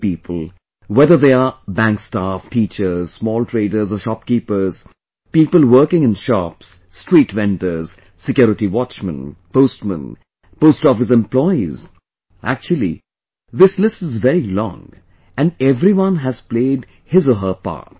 Many people, whether they are bank staff, teachers, small traders or shopkeepers, people working in shops, street vendors, security watchmen, postmen and post office employees... Actually, this list is very long and everyone has played his or her part